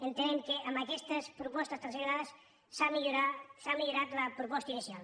entenem que amb aquestes propostes transaccionades s’ha millorat la proposta inicial